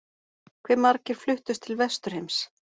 Hve margir fluttust til Vesturheims?